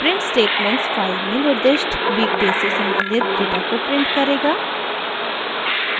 print statements file में निर्दिष्ट weekday से सम्बंधित डेटा को प्रिंट करेगा